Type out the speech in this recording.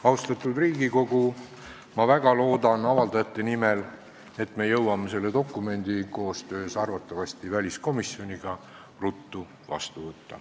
Austatud Riigikogu, ma väga loodan avalduse esitajate nimel, et me jõuame selle dokumendi arvatavasti koostöös väliskomisjoniga ruttu vastu võtta.